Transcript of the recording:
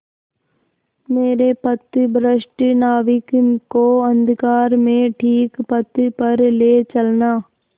मेरे पथभ्रष्ट नाविक को अंधकार में ठीक पथ पर ले चलना